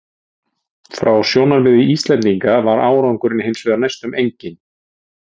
Frá sjónarmiði Íslendinga var árangurinn hins vegar næstum enginn.